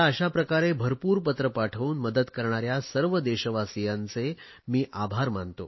मला अशाप्रकारे भरपूर पत्रे पाठवून मदत करणाऱ्या सर्व देशवासियांचे मी आभार मानतो